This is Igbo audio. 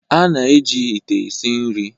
a na-eji ite esi nri